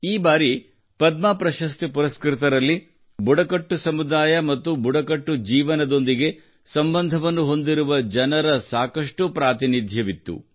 ಈ ಬಾರಿ ಪದ್ಮ ಪ್ರಶಸ್ತಿ ಪುರಸ್ಕೃತರಲ್ಲಿ ಬುಡಕಟ್ಟು ಸಮುದಾಯ ಮತ್ತು ಬುಡಕಟ್ಟು ಜೀವನದೊಂದಿಗೆ ಸಂಬಂಧವನ್ನು ಹೊಂದಿರುವ ಜನರ ಸಾಕಷ್ಟು ಪ್ರತಿನಿದಹಿತ್ವವಿತ್ತು